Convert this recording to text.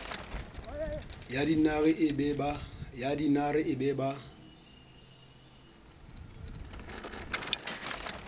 ya dinare e be ba